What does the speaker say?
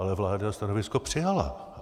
Ale vláda stanovisko přijala.